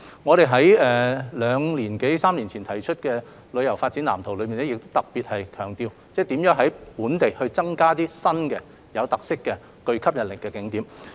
我們在兩年多三年前提出的《香港旅遊業發展藍圖》亦特別強調如何在本地增加具特色和吸引力的新景點。